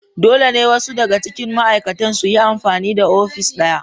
Dole ne wasu daga cikin ma'aikatan su yi amfani da ofis ɗaya